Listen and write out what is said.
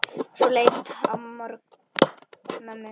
Leit svo á mömmu.